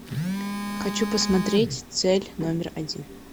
хочу посмотреть цель номер один